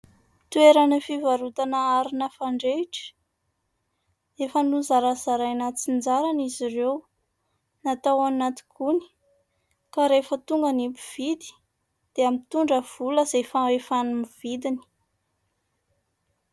Toerana fivarotana arina fandrehitra. Efa nozarazaraina antsinjarany izy ireo. Natao ao anaty gony, ka rehefa tonga ny mpividy dia mitondra vola izay fahefan'ny vidiny.